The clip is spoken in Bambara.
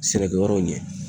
Sɛnɛkɛyɔrɔw ɲɛ